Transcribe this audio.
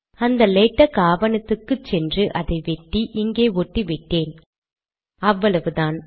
அந்த லேடக் ஆவணத்துக்கு சென்று அதை வெட்டி இங்கே ஒட்டிவிட்டேன் அவ்வளவுதான்